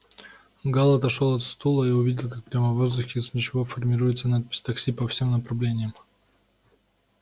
гаал отошёл от стола и увидел как прямо в воздухе из ничего формируется надпись такси по всем направлениям